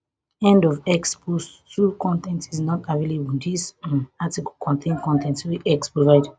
end of x post two con ten t is not available dis um article contain con ten t wey x provide